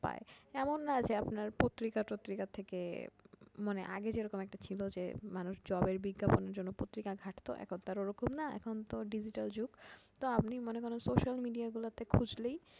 পায়। এমন না যে আপনার পত্রিকা টত্রিকা থেকে মানে আগে যে রকম একটা ছিলো যে মানুষ job এর বিজ্ঞাপনের জন্য পত্রিকা ঘাটত, এখন তো আর ওরকম না এখন তো digital যুগ তো আপনি মানে social media গুলাতে খুজলেই পায়